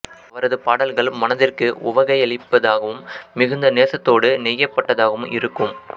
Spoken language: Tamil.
அவரது பாடல்கள் மனதிற்கு உவகையளிப்பதாகவும் மிகுந்த நேசத்தோடு நெய்யப்பட்டதாகவும் இருக்கும்